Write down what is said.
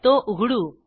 तो उघडू